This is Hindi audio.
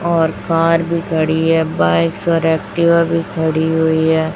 और कार भी खड़ी है बाइक्स और एक्टिवा भी खड़ी हुई है।